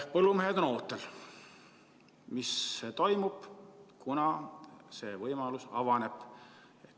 Põllumehed on ootel, mis toimub, kunas see võimalus avaneb.